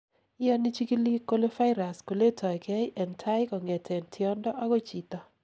iyoni chikilik kole virus koletoigei en tai kongeten tiondo agoi chito